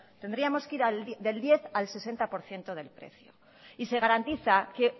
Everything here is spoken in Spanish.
tendríamos que ir del diez al sesenta por ciento del precio y se garantiza que